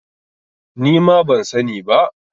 Ni ma ban sani ba.